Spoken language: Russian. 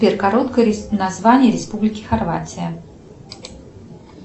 сбер короткое название республики хорватия